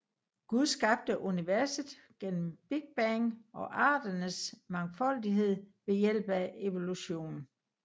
Gud skabte universet gennem Big Bang og arternes mangfoldighed ved hjælp af evolution